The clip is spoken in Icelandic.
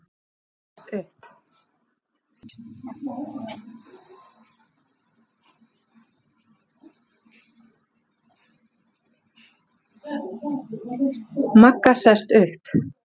Magga sest upp.